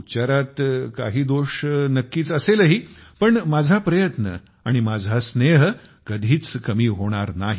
उच्चारात काही दोष नक्कीच असेलही मात्र माझा प्रयत्न आणि माझा स्नेह कधीच कमी होणार नाही